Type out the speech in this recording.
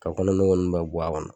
Ka kɔnɔ nogo ninnu bɛɛ bɔ a kɔnɔ